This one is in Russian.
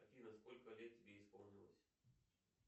афина сколько лет тебе исполнилось